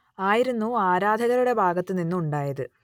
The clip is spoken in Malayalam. ആയിരുന്നു ആരാധകരുടെ ഭാഗത്തു നിന്ന് ഉണ്ടായത്